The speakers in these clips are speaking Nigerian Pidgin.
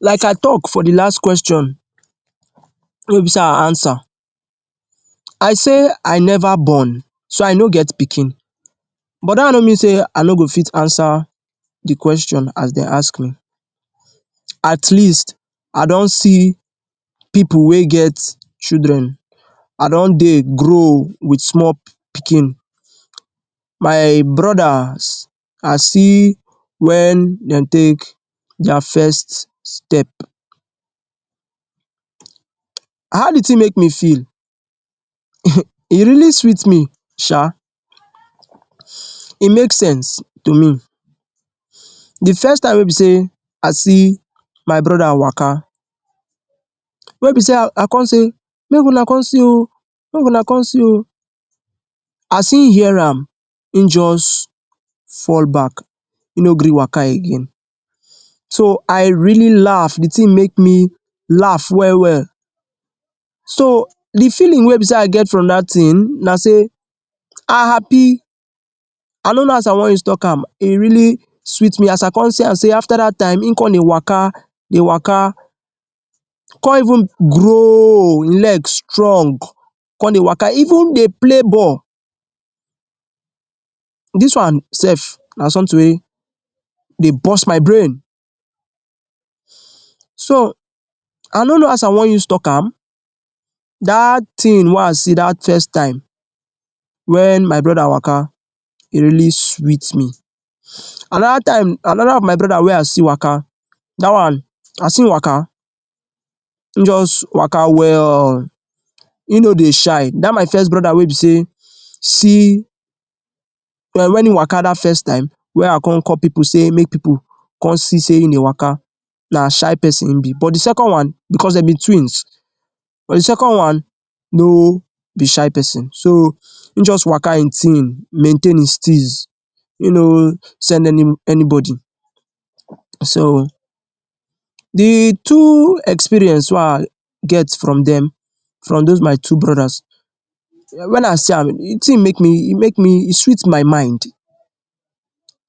Like I talk for the last question wey be say I answer, I say I never born so I no get pikin but dat one no mean say I no go fit answer the question as dey ask me. At least I don see people wey get children, I don dey grow wit small pikin. My brodas, I see wen dem take their first step. How the thing make me feel?? E really sweet me shaa e make sense to me. The first time wey be say I see my broda waka, wey be say I come say, ‘make una come see o, make una come see o’ as im hear am im just fall back, im no gree waka again. So I really laugh, the thing make me laugh well well. so the feeling wey be say I get from that thing na say I happy, I no know as I wan use talk am E really sweet me as I come see am say after that time im come dey waka dey waka come even grow oo, legs strong, come dey waka even dey play ball. Dis wan sef na something wey dey burst my brain. so, I no know as I wan use talk am dat thing wey I see dat first time wen my broda waka, e really sweet me. Another time, another of my broda wey I see waka dat one as im waka im just waka well im no dey shy. Dat my first broda wey be say see when im waka dat first time wey I come call people say make people come see say im dey waka na shy person im be but the second one because dem be twins but the second one, no be shy person so im just waka im thing maintain his steeze he no send anyanybody so the two experience wey I get from dem from those my two brodas when I see am the thing make me… e make me e sweet my mind.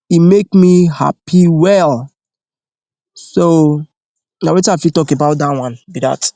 E make me happy well. so na wetin I fit talk about that one be dat.